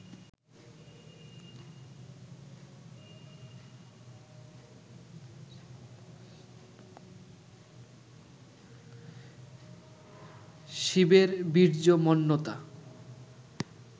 শিবের বীর্যমন্ততা